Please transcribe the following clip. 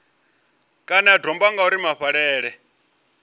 kana ya domba ngauri mafhaṱele